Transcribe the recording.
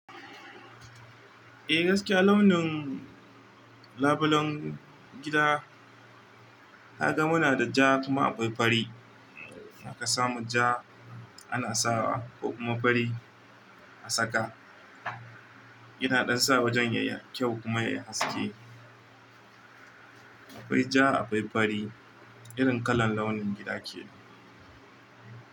Eh gaskiya launin labulen gida haka muna da ja kuma akwai fari. Haka samu ja ana sawa kuma fari a saka. Ina ɗan sa wajen yayi kyau kuma yayi haske. Akwai ja akwai fari irin kalar launin gida kenan.